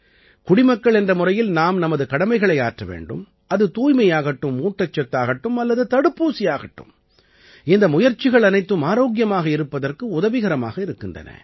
குடிமக்கள் என்ற முறையில் நாம் நமது கடமைகளை ஆற்ற வேண்டும் அது தூய்மையாகட்டும் ஊட்டச்சத்தாகட்டும் அல்லது தடுப்பூசியாகட்டும் இந்த முயற்சிகள் அனைத்தும் ஆரோக்கியமாக இருப்பதற்கு உதவிகரமாக இருக்கின்றன